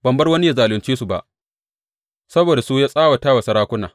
Bai bar wani ya zalunce su ba; saboda su ya tsawata wa sarakuna.